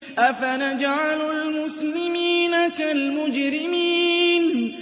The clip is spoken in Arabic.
أَفَنَجْعَلُ الْمُسْلِمِينَ كَالْمُجْرِمِينَ